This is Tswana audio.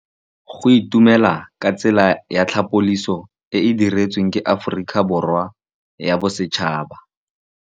Go itumela ke tsela ya tlhapolisô e e dirisitsweng ke Aforika Borwa ya Bosetšhaba.